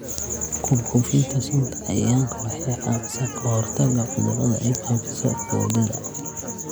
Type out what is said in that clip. Ku buufinta sunta cayayaanka waxay caawisaa ka hortagga cudurrada ay faafiso boodada.